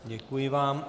Děkuji vám.